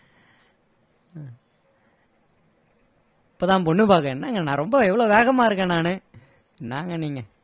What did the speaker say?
இப்போதான் பொண்ணு பார்க்க என்னங்க நான் ரொம்ப எவ்ளோ வேகமா இருக்கேன் நானு என்னங்க நீங்க